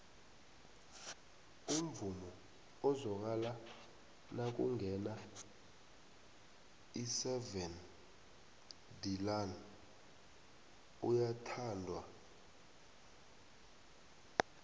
umvumo ezwakala nakungena iseven deluan uyathandwo